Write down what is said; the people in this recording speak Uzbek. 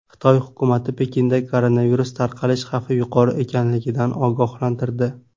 Xitoy hukumati Pekinda koronavirus tarqalish xavfi yuqori ekanligidan ogohlantirdi.